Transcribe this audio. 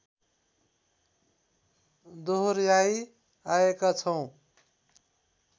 दोहोर्‍याई आएका छौँ